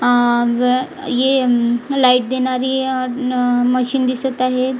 अं ज ये उम लाईट देणारी अ उम अ मशीन दिसत आहे.